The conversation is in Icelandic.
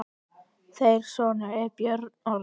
Þeirra sonur er Björn Orri.